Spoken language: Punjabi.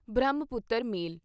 ਬ੍ਰਹਮਪੁੱਤਰ ਮੇਲ